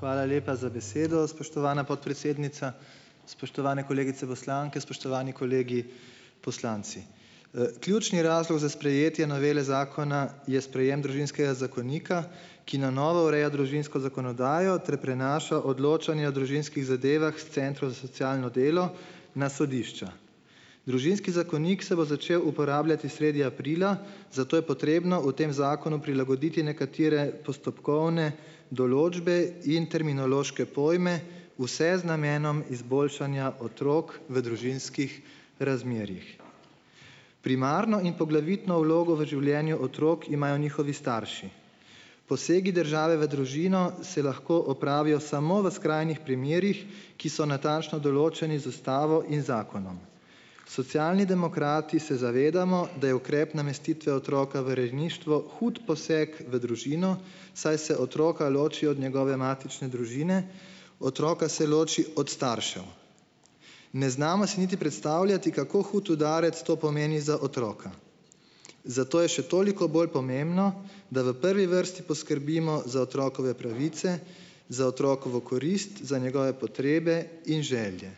Hvala lepa za besedo, spoštovana podpredsednica. Spoštovane kolegice poslanke, spoštovani kolegi poslanci! Ključni razlog za sprejetje novele zakona je sprejem družinskega zakonika, ki na novo ureja družinsko zakonodajo ter prinaša odločanje o družinskih zadevah s centrov za socialno delo na sodišča. Družinski zakonik se bo začel uporabljati sredi aprila, zato je potrebno v tem zakonu prilagoditi nekatere postopkovne določbe in terminološke pojme, vse z namenom izboljšanja otrok v družinskih razmerjih. Primarno in poglavitno vlogo v življenju otrok imajo njihovi starši. Posegi države v družino se lahko opravijo samo v skrajnih primerih, ki so natančno določeni z ustavo in zakonom. Socialni demokrati se zavedamo, da je ukrep namestitve otroka v rejništvo hud poseg v družino, saj se otroka loči od njegove matične družine, otroka se loči od staršev. Ne znamo si niti predstavljati, kako hud udarec to pomeni za otroka. Zato je še toliko bolj pomembno, da v prvi vrsti poskrbimo za otrokove pravice, za otrokovo korist, za njegove potrebe in želje.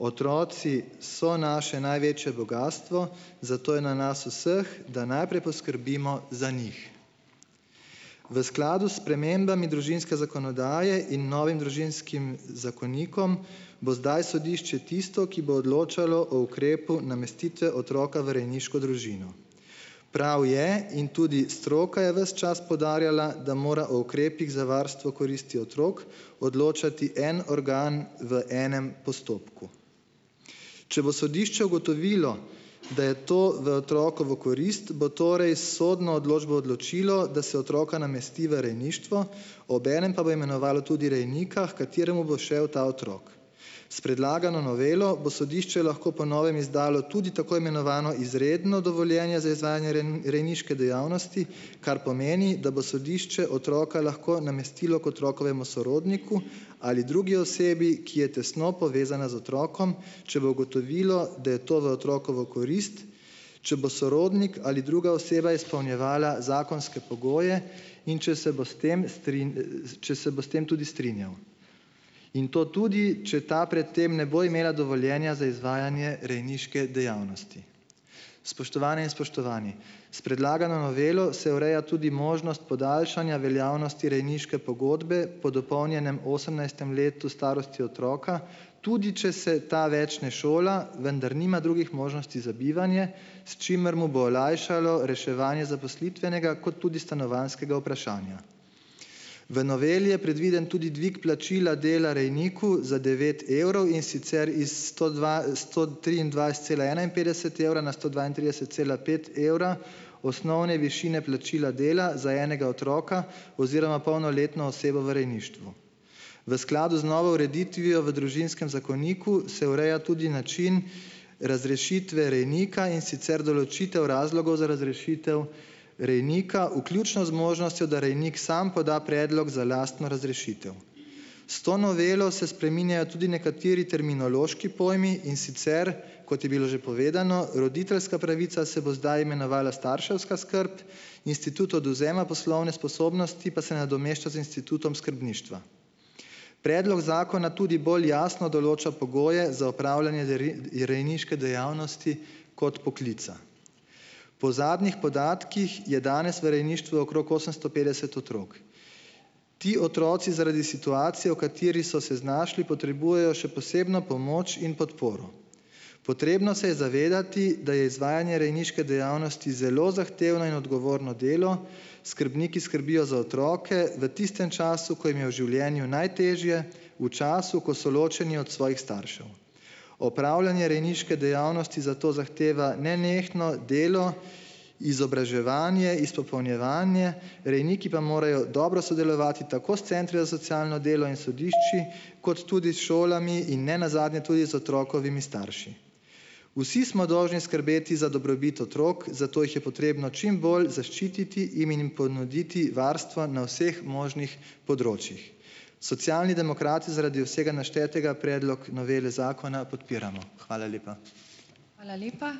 Otroci so naše največje bogastvo, zato je na nas vseh, da najprej poskrbimo za njih. V skladu s spremembami družinske zakonodaje in novim družinskim zakonikom bo zdaj sodišče tisto, ki bo odločalo o ukrepu namestitve otroka v rejniško družino. Prav je - in tudi stroka je ves čas poudarjala, da mora o ukrepih za varstvo koristi otrok odločati en organ v enem postopku. Če bo sodišče ugotovilo, da je to v otrokovo korist, bo torej s sodno odločbo odločilo, da se otroka namesti v rejništvo, obenem pa bo imenovalo tudi rejnika, h kateremu bo šel ta otrok. S predlagano novelo bo sodišče lahko po novem izdalo tudi tako imenovano izredno dovoljenje za izvajanje rejniške dejavnosti, kar pomeni, da bo sodišče otroka lahko namestilo k otrokovemu sorodniku ali drugi osebi, ki je tesno povezana z otrokom, če bo ugotovilo, da je to v otrokovo korist, če bo sorodnik ali druga oseba izpolnjevala zakonske pogoje in če se bo s tem če se bo s tem tudi strinjal. In to tudi, če ta pred tem ne bo imela dovoljenja za izvajanje rejniške dejavnosti. Spoštovane in spoštovani! S predlagano novelo se ureja tudi možnost podaljšanja veljavnosti rejniške pogodbe po dopolnjenem osemnajstem letu starosti otroka, tudi če se ta več ne šola, vendar nima drugih možnosti za bivanje, s čimer mu bo olajšalo reševanje zaposlitvenega kot tudi stanovanjskega vprašanja. V noveli je predviden tudi dvig plačila dela rejniku za devet evrov, in sicer iz sto dva, sto triindvajset cela enainpetdeset evra na sto dvaintrideset cela pet evra osnovne višine plačila dela za enega otroka oziroma polnoletno osebo v rejništvu. V skladu z novo ureditvijo v družinskem zakoniku se ureja tudi način razrešitve rejnika, in sicer določitev razlogov za razrešitev rejnika, vključno z možnostjo, da rejnik sam poda predlog za lastno razrešitev. S to novelo se spreminjajo tudi nekateri terminološki pojmi, in sicer, kot je bilo že povedano, roditeljska pravica se bo zdaj imenovala starševska skrb, institut odvzema poslovne sposobnosti pa se nadomešča z institutom skrbništva. Predlog zakona tudi bolj jasno določa pogoje za opravljanje je rejniške dejavnosti kot poklica. Po zadnjih podatkih je danes v rejništvu okrog osemsto petdeset otrok. Ti otroci zaradi situacije, v kateri so se znašli, potrebujejo še posebno pomoč in podporo. Potrebno se je zavedati, da je izvajanje rejniške dejavnosti zelo zahtevno in odgovorno delo, skrbniki skrbijo za otroke v tistem času, ko jim je v življenju najtežje, v času, ko so ločeni od svojih staršev. Opravljanje rejniške dejavnosti zato zahteva nenehno delo, izobraževanje, izpopolnjevanje, rejniki pa morejo dobro sodelovati tako s centri za socialno delo in sodišči kot tudi s šolami in ne nazadnje tudi z otrokovimi starši. Vsi smo dolžni skrbeti za dobrobit otrok, zato jih je potrebno čim bolj zaščititi im ji njim ponuditi varstva na vseh možnih področjih. Socialni demokrati zaradi vsega naštetega predlog novele zakona podpiramo. Hvala lepa.